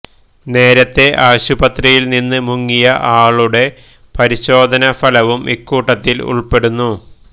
നേരത്തെ ആശുപത്രിയിൽ നിന്ന് മുങ്ങിയ ആളുടെ പരിശോധന ഫലവും ഇക്കൂട്ടത്തിൽ ഉൾപ്പെടുന്നു